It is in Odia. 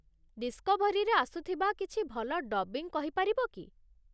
ଡିସ୍କଭରୀରେ ଆସୁଥିବା କିଛି ଭଲ ଡବ୍ବିଙ୍ଗ୍ କହିପାରିବ କି?